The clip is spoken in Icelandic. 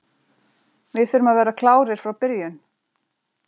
Við þurfum að vera klárir frá byrjun.